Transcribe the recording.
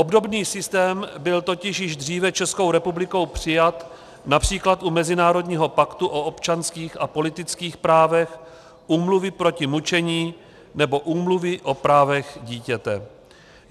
Obdobný systém byl totiž již dříve Českou republikou přijat například u Mezinárodního paktu o občanských a politických právech, Úmluvy proti mučení nebo Úmluvy o právech dítěte.